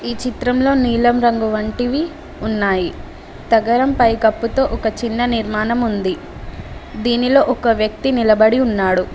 ఈ చిత్రంలో నీలం రంగు వంటివి ఉన్నాయి తగరం పైకప్పుతో ఒక చిన్న నిర్మాణం ఉంది దీనిలో ఒక వ్యక్తి నిలబడి ఉన్నాడు.